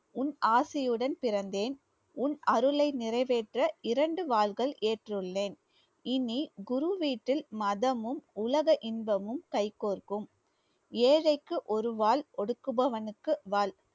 உன் ஆசியுடன் பிறந்தேன் உன் அருளை நிறைவேற்ற இரண்டு வாள்கள் ஏற்றுள்ளேன் இனி குரு வீட்டில் மதமும் உலக இன்பமும் கைகோர்க்கும் ஏழைக்கு ஒருவாள் ஒடுக்குபவனுக்கு வாள்